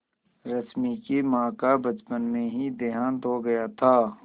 रश्मि की माँ का बचपन में ही देहांत हो गया था